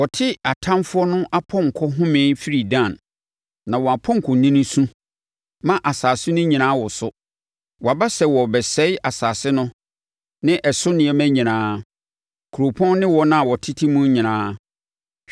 Wɔte atamfoɔ no apɔnkɔ homee firi Dan; na wɔn apɔnkɔnini su ma asase no nyinaa woso. Wɔaba sɛ wɔrebɛsɛe asase no ne ɛso nneɛma nyinaa, kuropɔn no ne wɔn a wɔtete mu nyinaa.